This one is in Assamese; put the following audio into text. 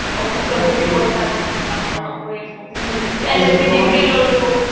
officeত বহি পইচা গণিম হা masters পঢ়িলো LLB degree ললো